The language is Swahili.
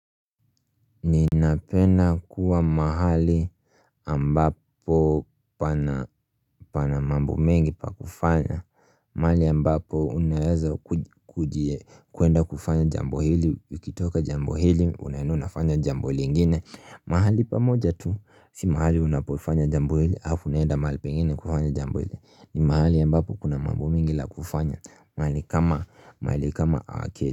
Ninapenda kuwa mahali ambapo pana pana mambo mengi pa kufanya mahali ambapo unaeza kuji kuenda kufanya jambo hili ukitoka jambo hili unaenda unafanya jambo lngine. Mahali pamoja tu si mahali unapofanya jambo hili alafu unaenda mahali pengine kufanya jambo hili ni mahali ambapo kuna mambo mengi la kufanya mahali kama mahali kam ake.